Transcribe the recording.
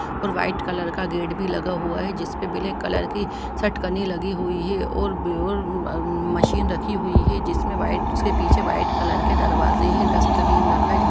और white colour का gate भी लगा हुआ है जिस पर ब्लैक कलर की शटकने लगी हुई है और और उम्म मशीन रखी हुई है जिसमें व्हाइट उसके पीछे व्हाइट कलर के दरवाजे हैं डस्टबिन रखा है जहाँ --